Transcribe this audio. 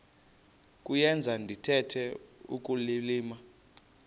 kuyenza ndithetha ukulilima